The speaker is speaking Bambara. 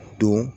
Don